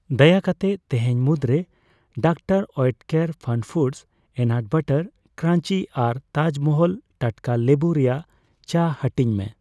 ᱫᱟᱭᱟ ᱠᱟᱛᱮ ᱛᱤᱦᱤᱧ ᱢᱩᱫᱨᱮ ᱰᱚᱠᱛᱟᱨ ᱳᱭᱮᱴᱠᱮᱨ ᱯᱷᱟᱱᱯᱷᱩᱰᱚᱥ ᱚᱤᱱᱟᱴ ᱵᱟᱨᱟᱴ ᱠᱨᱟᱧᱡᱤ ᱟᱨ ᱛᱟᱡ ᱢᱟᱦᱟᱞ ᱴᱟᱴᱠᱟ ᱞᱮᱵᱩ ᱨᱮᱭᱟᱜ ᱪᱟ ᱦᱟᱹᱴᱤᱧ ᱢᱮ ᱾